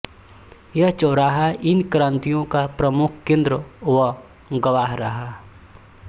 यह चौराहा इन क्रान्तियों का प्रमुख केन्द्र व गवाह रहा